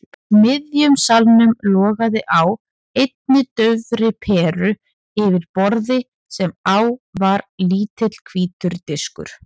miðjum salnum logaði á einni daufri peru yfir borði sem á var lítill hvítur diskur.